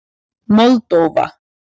Moldóva